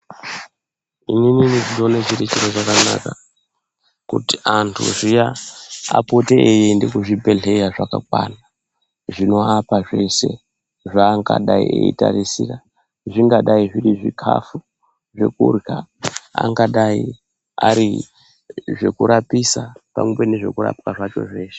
Inini ndinoone chiri chiro chakanaka ,kuti antu zviya, apote eiende kuzvibhedhleya zvakakwana, zvinoapa zvese, zvaangadai eitarisira ,zvingadai zviri zvikhafu ,zvekurya, angadai ari zvekurapisa pamwepo nezvekurapwa zvacho zveshe.